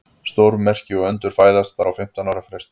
Stórmerki og undur fæðast bara á fimmtán ára fresti.